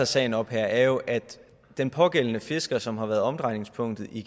sagen op her er jo at den pågældende fisker som har været omdrejningspunktet i